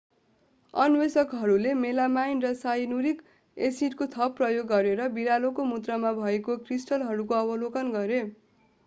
अन्वेषकहरूले melamine र cyanuric एसिडको थप प्रयोग गरेर बिरालोको मूत्रमा भएका क्रिस्टलहरूको अवलोकन गरे